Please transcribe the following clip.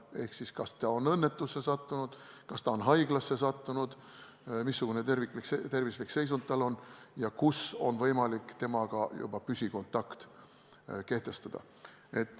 Kui ta on näiteks õnnetusse sattunud või haiglasse sattunud, siis uuritakse, missugune on tema tervislik seisund ja kus on võimalik temaga juba püsikontakti saada.